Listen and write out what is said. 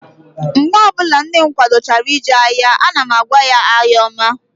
Mgbe ọbụla nne m kwadochara ije ahịa, ana m agwa ya, "ahịa ọma"